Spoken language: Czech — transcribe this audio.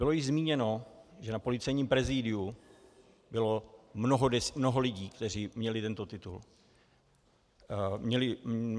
Bylo již zmíněno, že na Policejním prezidiu bylo mnoho lidí, kteří měli tento titul.